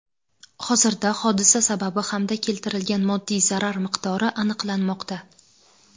Hozirda hodisa sababi hamda keltirilgan moddiy zarar miqdori aniqlanmoqda.